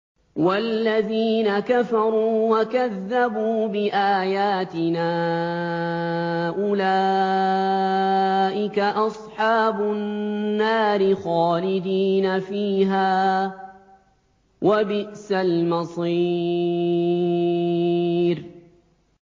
وَالَّذِينَ كَفَرُوا وَكَذَّبُوا بِآيَاتِنَا أُولَٰئِكَ أَصْحَابُ النَّارِ خَالِدِينَ فِيهَا ۖ وَبِئْسَ الْمَصِيرُ